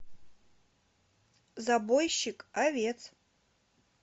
забойщик овец